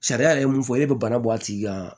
Sariya yɛrɛ mun fɔ e bɛ bana bɔ a tigi kan